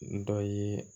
Dɔ ye